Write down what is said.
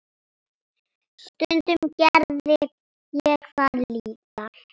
Stundum gerði ég það líka.